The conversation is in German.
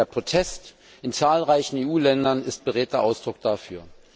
Der Protest in zahlreichen EU Ländern ist beredter Ausdruck dafür.